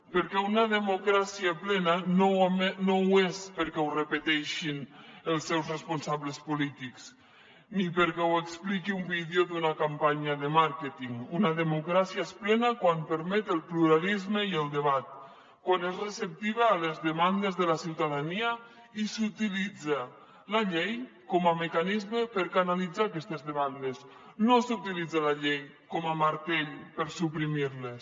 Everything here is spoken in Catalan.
perquè una democràcia plena no ho és perquè ho repeteixin els seus responsables polítics ni perquè ho expliqui un vídeo d’una campanya de màrqueting una democràcia és plena quan permet el pluralisme i el debat quan és receptiva a les demandes de la ciutadania i s’utilitza la llei com a mecanisme per canalitzar aquestes demandes no s’utilitza la llei com a martell per suprimir les